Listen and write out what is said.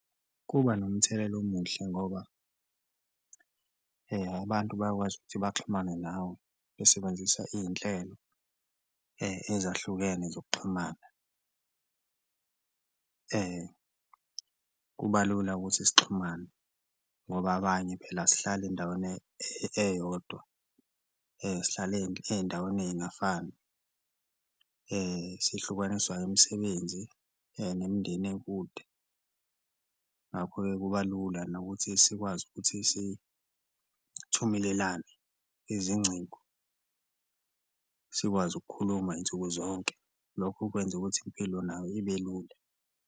Kuba nomthelela omuhle ngoba abantu bayakwazi ukuthi baxhumane nawe besebenzisa iy'nhlelo ezahlukene zokuxhumana, kuba lula ukuthi sixhumane ngoba abanye phela asihlali endaweni eyodwa, sihlala ey'ndaweni ey'ngafani sihlukaniswa umisebenzi nemindeni ekude. Ngakho-ke, kuba lula nokuthi sikwazi ukuthi sithumelelane izincingo, sikwazi ukukhuluma y'nsuku zonke lokho okwenza ukuthi impilo nayo ibe lula.